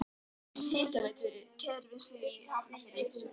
Lokið við lögn hitaveitukerfis í Hafnarfirði.